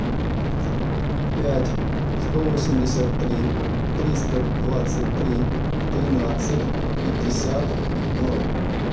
пять сто восемьдесят три триста двадцать три тринадцать пятьдесят ноль